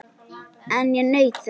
En ég naut þess.